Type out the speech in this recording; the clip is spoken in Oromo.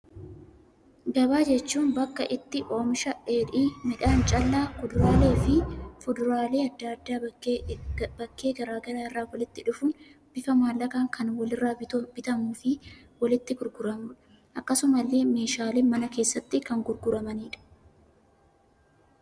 Gabaa jechuun bakka itti oomishaaleen dheedhii, midhaan callaa, kuduraalee fi fuduraalee addaa addaa bakkee garaagaraa irraa walitti dhufuun bifa maallaqaan kan walirra bitamuu fi walitti gurguramudha. Akkasuma illee meeshaaleen manaa keessatti kan gurguramanidha.